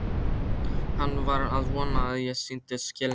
Hann var að vona að ég sýndi skilning.